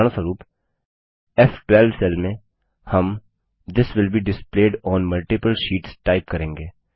उदाहरणस्वरूप फ़12 सेल में हम this will be displayed on multiple sheets type करेंगे